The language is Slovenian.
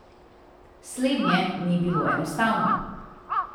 Slednje ni bilo enostavno.